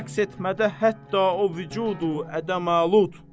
Rəqs etmədə hətta o vücud-u-ədəm-i-malud.